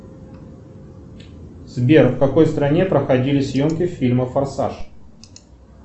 сбер в какой стране проходили съемки фильма форсаж